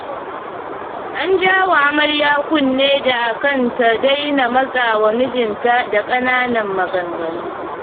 An jawa amarya kunne da a kan ta daina matsawa mijinta da ƙanannan maganganu.